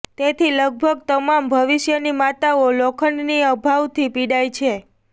તેથી લગભગ તમામ ભવિષ્યની માતાઓ લોખંડની અભાવથી પીડાય છે